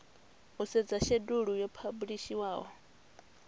u sedza shedulu yo phabulishiwaho